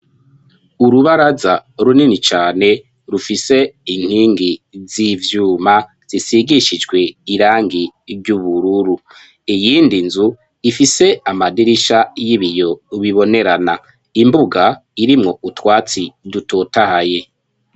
Urubaraza runini cane rufise inkingi z'ivyuma zisigishijwe irangi ry'ubururu iyindi nzu ifise amadirisha y'ibiyo bibonerana imbuga irimwo utwatsi dutotahaye.